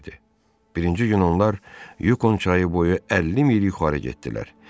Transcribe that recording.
Birinci gün onlar Yukon çayı boyu 50 mil yuxarı getdilər.